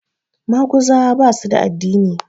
Maguzawa ba su da addini